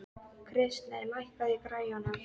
Kristey, lækkaðu í græjunum.